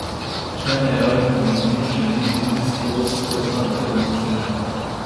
Če najavim globino, želim biti stoodstotna, da jo dosežem.